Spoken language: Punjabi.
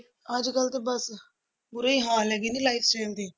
ਅੱਜ ਕੱਲ੍ਹ ਤੇ ਬਸ ਬੁਰੇ ਹੀ ਹਾਲ ਹੈਗੇ ਨੇ lifestyle ਦੇ।